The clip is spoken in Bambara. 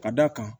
Ka d'a kan